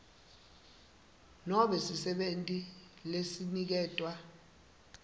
nobe sisebenti lesiniketwe